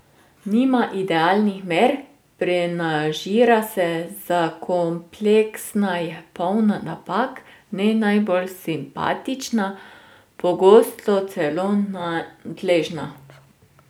Nima idealnih mer, prenažira se, zakompleksana je, polna napak, ne najbolj simpatična, pogosto celo nadležna.